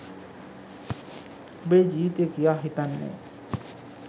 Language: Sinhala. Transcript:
ඔබේ ජීවිතේ කියා හිතන්නේ